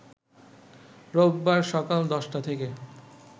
রোববার সকাল ১০টা থেকে